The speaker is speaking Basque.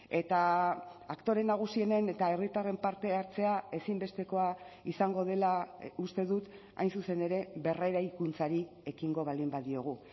eta aktore nagusienen eta herritarren parte hartzea ezinbestekoa izango dela uste dut hain zuzen ere berreraikuntzari ekingo baldin badiogu